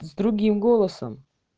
с другим голосом